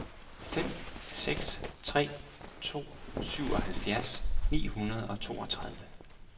fem seks tre to syvoghalvfjerds ni hundrede og toogtredive